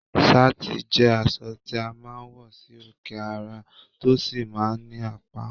Sáàtì jẹ́ aṣọ tí a máa ń wọ sí òkè ara, tó sì máa ń ní apá